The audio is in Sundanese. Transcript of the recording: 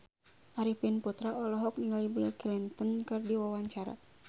Arifin Putra olohok ningali Bill Clinton keur diwawancara